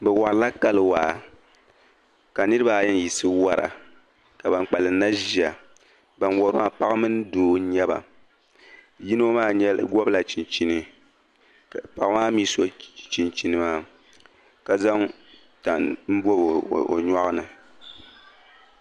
Bɛ warila kali waa ka niriba ayi n-yiɣisi wara ka ban kpalim maa mi ʒiya. Ban wari maa paɣa mini doo n-nyɛ ba. Yino maa gɔbila chinchini ka paɣa maa mi so chinchini maa ka zaŋ tani n-bɔbi o nyɔɣu ni.